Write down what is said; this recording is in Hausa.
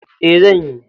E, zan yi.